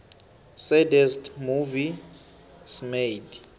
saddest movies made